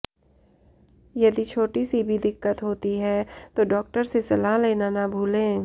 यदि छोटी सी भी दिक्कत होती है तो डॉक्टर से सलाह लेना न भूलें